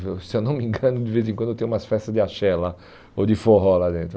Se eu não me engano, de vez em quando tem umas festas de axé lá, ou de forró lá dentro.